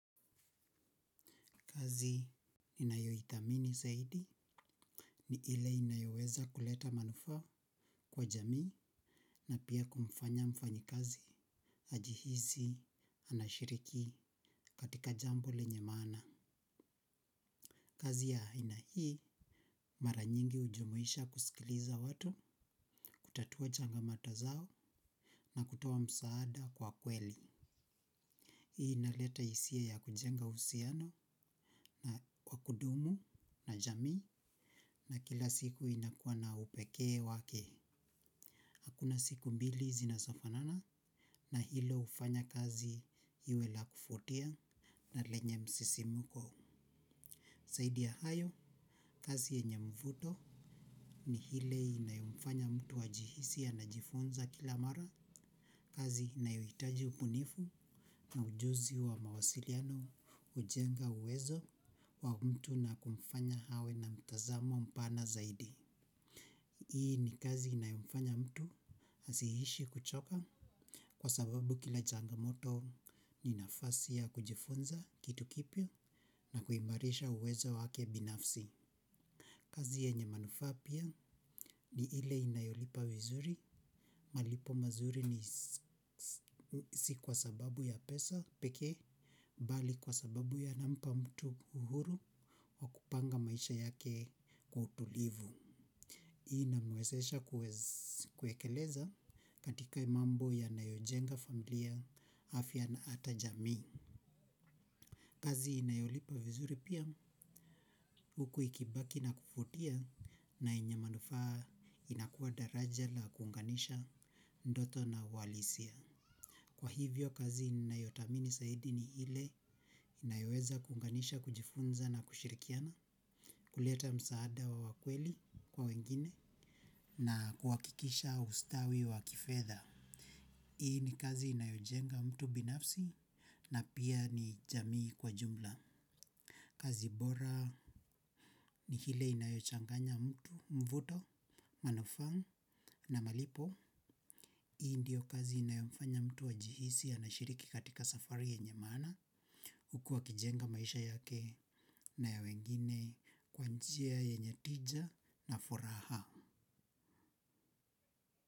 Kazi ninayoithamini zaidi ni ile inayoweza kuleta manufaa kwa jamii na pia kumfanya mfanyikazi ajihisi anashiriki katika jambo lenye maana. Kazi ya aina hii mara nyingi hujumuisha kusikiliza watu kutatua changamoto zao na kutoa msaada kwa kweli. Hii inaleta hisia ya kujenga uhusiano na wa kudumu na jamii na kila siku inakuwa na upekee wake. Hakuna siku mbili zinazofanana na hilo hufanya kazi iwe la kuvutia na lenye msisimko. Zaidi ya hayo, kazi yenye mvuto ni ile inayomfanya mtu ajihisi anajifunza kila mara. Kazi inayohitaji ubunifu na ujuzi wa mawasiliano hujenga uwezo wa mtu na kumfanya awe na mitazamo mpana zaidi. Hii ni kazi inayomfanya mtu asiishi kuchoka kwa sababu kila changamoto ni nafasi ya kujifunza kitu kipya na kuimarisha uwezo wake binafsi. Kazi yenye manufaa pia ni ile inayolipa vizuri malipo mazuri si kwa sababu ya pesa peke. Bali kwa sababu yanampa mtu uhuru wa kupanga maisha yake kwa utulivu. Inamwezesha kuekeleza katika mambo yanayojenga familia afya na hata jamii. Kazi inayolipa vizuri pia huku ikibaki na kuvutia na yenye manufaa inakuwa daraja la kuunganisha ndoto na uhalisia. Kwa hivyo kazi ninayothamini zaidi ni ile inayoweza kuunganisha kujifunza na kushirikiana. Kuleta msaada wa wa kweli kwa wengine na kuhakikisha ustawi wa kifedha. Hii ni kazi inayojenga mtu binafsi na pia ni jamii kwa jumla. Kazi bora ni ile inayochanganya mtu mvuto, manufaa na malipo. Hii ndiyo kazi inayomfanya mtu ajihisi anashiriki katika safari yenye maana. Huku akijenga maisha yake na ya wengine kwa njia yenye tija na furaha.